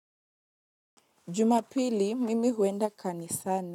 Jumapili mimi huenda kanisani.